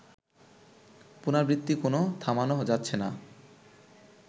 পুনরাবৃত্তি কেন থামানো যাচ্ছে না